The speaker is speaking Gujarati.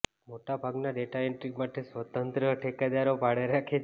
મોટાભાગના ડેટા એન્ટ્રી માટે સ્વતંત્ર ઠેકેદારો ભાડે રાખે છે